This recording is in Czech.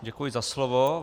Děkuji za slovo.